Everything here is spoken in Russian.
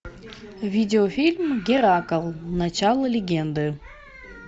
видеофильм геракл начало легенды